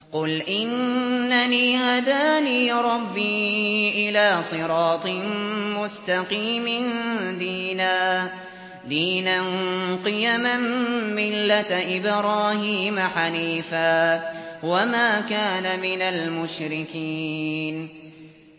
قُلْ إِنَّنِي هَدَانِي رَبِّي إِلَىٰ صِرَاطٍ مُّسْتَقِيمٍ دِينًا قِيَمًا مِّلَّةَ إِبْرَاهِيمَ حَنِيفًا ۚ وَمَا كَانَ مِنَ الْمُشْرِكِينَ